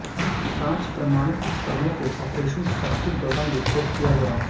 पांच परमाणु उपकरणों को ऑपरेशन शक्ति के दौरान विस्फोट किया गया